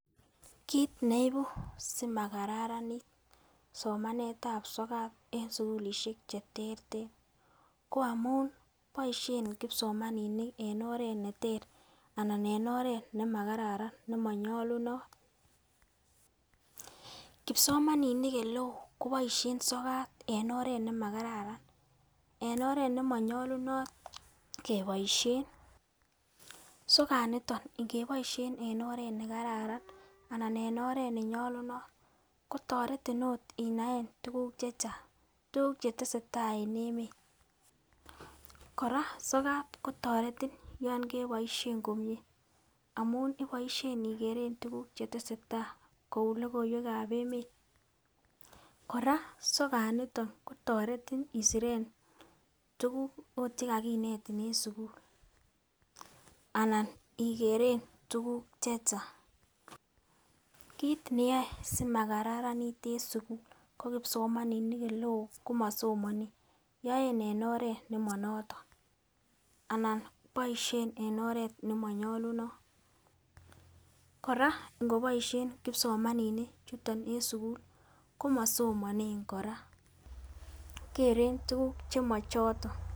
Kit neibu simakaranit somanetab sokat en sukulishek che terter ko amun boishen kipsomaninik en oret neter anan en oret nemakararan anan nimonyolunot. Kipsomaninik oleo koboishen sokat en oret nimakararan en oret nimonyolunot keboishen